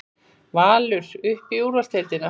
Valur upp í úrvalsdeildina